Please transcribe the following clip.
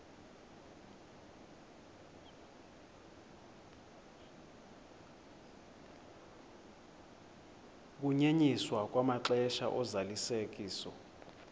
ukunyenyiswa kwamaxesha ozalisekiso